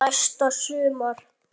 Næsta sumar?